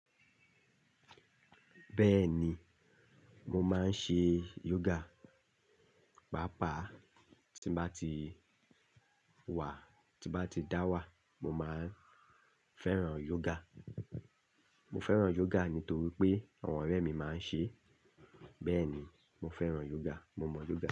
Bẹ́ẹ̀ni, mo máa ń ṣe yoga. Pàápàá tí báti wà, tí báti dá wà mo máa ń fẹ́ràn yoga. Mo fẹ́ràn yoga nítorí pé àwọn ọ̀rẹ́ mi máa ń ṣe. Bẹ́ẹ̀ni, mo fẹ́ràn yoga. Mo mọ yoga.